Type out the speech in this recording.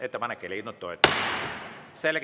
Ettepanek ei leidnud toetust.